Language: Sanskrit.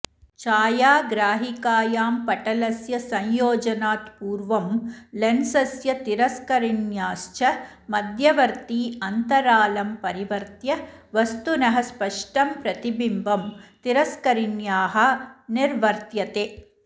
छायाग्राहिकायां पटलस्य संयोजनात् पूर्वं लेन्सस्य तिरस्करिण्याश्च मध्यवर्ति अन्तरालं परिवर्त्य वस्तुनः स्पष्टं प्रतिबिम्बं तिरस्करिण्याः निर्वर्त्यते